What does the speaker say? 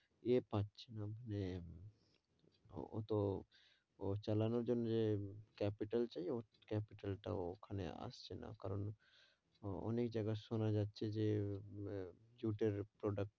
এই পাচ্ছে না, এ ওতো, ওর চালানোর জন্যে যে capital চাই, capital তা ওখানে আসছে না, কারণ অনেক জায়গায় সোনা যাচ্ছে যে জুটের product.